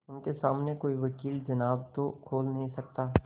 उनके सामने कोई वकील जबान तो खोल नहीं सकता